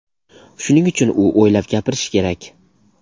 Shuning uchun u o‘ylab gapirishi kerak.